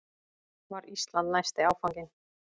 Var Ísland næsti áfanginn?